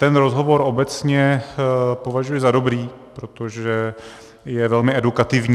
Ten rozhovor obecně považuji za dobrý, protože je velmi edukativní.